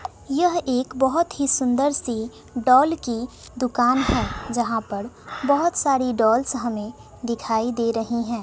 यह एक बहोत ही सुंदर सी डॉल की दुकान है जहां पर बहोत सारी डॉल्स हमें दिखाई दे रही हैं।